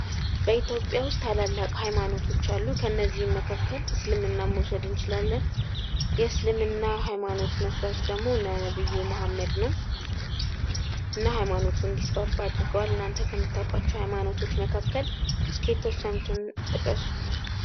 በኢትዮጵያ ውስጥ ታላላቅ ሐይማኖቶች አሉ። ከእነዚህም መካከል እስልምና መውሰድ እንችላለን። የእስልምና ሐይማኖት መስራች ደጎሞ ነብዩ መሐመድ ነው። እና ሐይማኖቱ እንዲስፋፋ አድርገዋል እናንተ ከምታውቋቸው ሐይማኖቶች መካከል እስኪ የተወሰኑትን ጥቀሱ።